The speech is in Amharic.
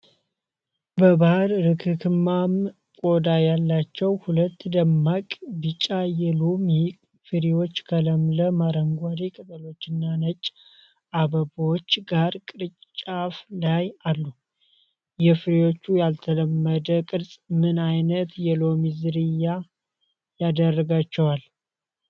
በባሕረርክክማም ቆዳ ያላቸው ሁለት ደማቅ ቢጫ የሎሚ ፍሬዎች ከለምለም አረንጓዴ ቅጠሎችና ነጭ አበባዎች ጋር ቅርንጫፍ ላይ አሉ። የፍሬዎቹ ያልተለመደ ቅርፅ ምን ዓይነት የሎሚ ዝርያ ያደርጋቸዋል?